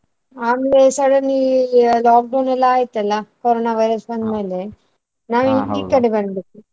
ಆಮೇಲೆ suddenly lockdown ಎಲ್ಲಾ ಆಯ್ತ್ ಅಲ್ಲಾ ಕೊರೊನ virus ಬಂದ್ ಮೇಲೆ ನಾವ್ ಇಲ್ ಈ ಕಡೆ ಬಂದ್ಬಿಟ್ವಿ.